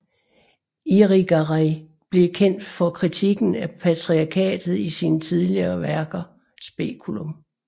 Irigaray blev kendt for kritikken af patriarkatet i sine tidligere værker Speculum